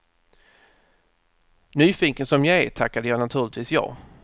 Nyfiken som jag är tackade jag naturligtvis ja.